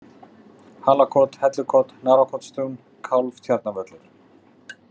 Halakot, Hellukot, Narfakotstún, Kálfatjarnarvöllur